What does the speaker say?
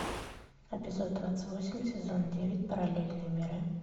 эпизод двадцать восемь сезон девять параллельные миры